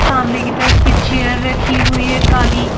सामने की तरफ में चेयर रखी हुई हैकाली।